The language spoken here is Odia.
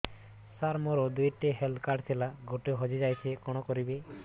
ସାର ମୋର ଦୁଇ ଟି ହେଲ୍ଥ କାର୍ଡ ଥିଲା ଗୋଟେ ହଜିଯାଇଛି କଣ କରିବି